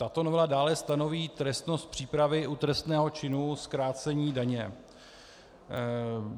Tato novela dále stanoví trestnost přípravy u trestného činu zkrácení daně.